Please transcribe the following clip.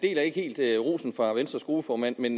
ikke helt deler rosen fra venstres gruppeformand men